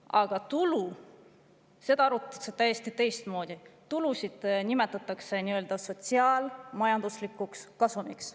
Aga tulusid arvutatakse täiesti teistmoodi, tulusid nimetatakse sotsiaal-majanduslikuks kasumiks.